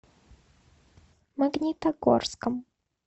магнитогорском